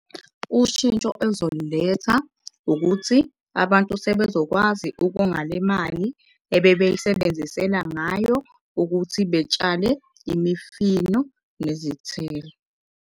Ushintsho elizoliletha ukuthi abantu sebezokwazi ukonga le mali ebebeyisebenzisela ngayo ukuthi betshale imifino nezithelo.